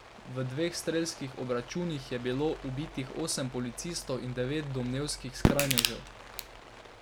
V dveh strelskih obračunih je bilo ubitih osem policistov in devet domnevnih skrajnežev.